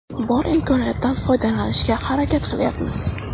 Bor imkoniyatdan foydalanishga harakat qilayapmiz.